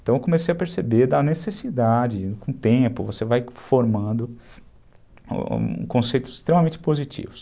Então eu comecei a perceber da necessidade, com o tempo você vai formando conceitos extremamente positivos.